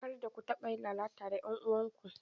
Karda ku taɓa yin lalata da 'yan uwanku!